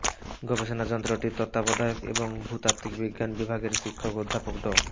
গবেষণা যন্ত্রটির তত্ত্বাবধায়ক এবং ভূতাত্ত্বিক বিজ্ঞান বিভাগের শিক্ষক অধ্যাপক ড